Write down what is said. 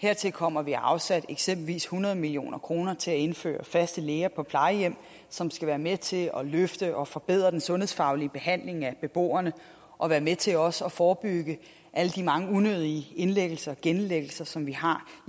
hertil kommer at vi har afsat eksempelvis hundrede million kroner til at indføre faste læger på plejehjem som skal være med til at løfte og forbedre den sundhedsfaglige behandling af beboerne og være med til også at forebygge alle de mange unødige indlæggelser og genindlæggelser som vi har